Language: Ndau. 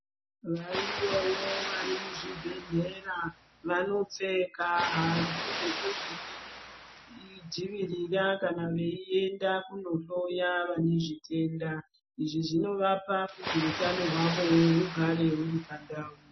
Variyowo vari muzvibhedhlerera vanopfeka hanzvu dzekuzvidzivirira kana veienda kunohloya vanezvitenda izvi zvinovapa kuti utano hwawo hugare huri pandau.